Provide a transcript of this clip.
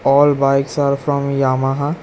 All bikes are from Yamaha.